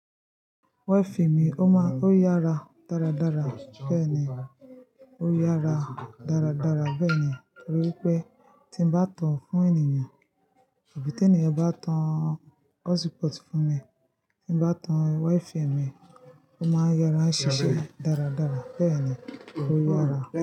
Wifi mi ó maa ó yára dáradára bẹ́ẹ̀ni ó yára dáradára bẹ́ẹ̀ni nitoripe ti n ba tan fún ènìyàn abi ti eniyan ba tan hot spot fún mi, ti n ba tan wifi mi, o maa n yára ṣiṣẹ daradara. Bẹẹni o yára.